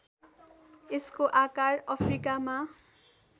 यसको आकार अफ्रिकामा